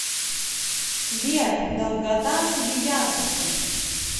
сбер долгота свияжск